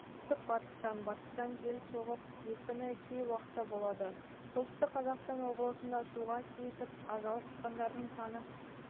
оңтүстік-батыстан батыстан жел соғып екпіні кей уақытта болады солтүстік қазақстан облысында суға кетіп ажал құшқандардың саны